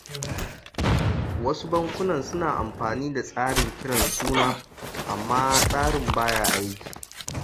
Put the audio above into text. Wasu bankunan suna amfani da tsarin kiran suna, amma tsarin ba ya aiki